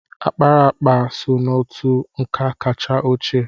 Akparaakpa so n'otú nka kacha ochie.